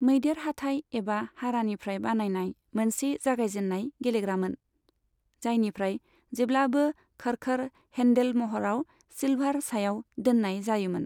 मैदेर हाथाइ एबा हारानिफ्राय बानायनाय मोनसे जागायजेननाय गेलेग्रामोन, जायनिफ्राय जेब्लाबो खड़खड़ हेन्डेल महराव सिल्भार सायाव दोननाय जायोमोन।